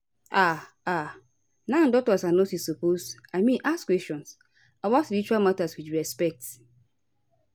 ah ah nau doctors and nurses suppose i mean ask questions about spiritual matter with respect